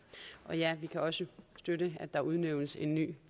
og ja vi kan også støtte at der udnævnes en ny